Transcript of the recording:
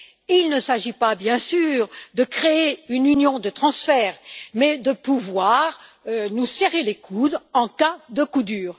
Il ne s'agit pas, bien sûr, de créer une union de transferts, mais de pouvoir nous serrer les coudes en cas de coup dur.